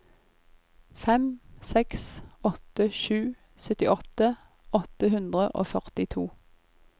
fem seks åtte sju syttiåtte åtte hundre og førtito